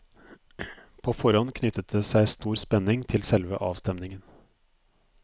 På forhånd knyttet det seg stor spenning til selve avstemningen.